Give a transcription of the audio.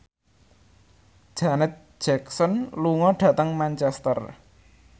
Janet Jackson lunga dhateng Manchester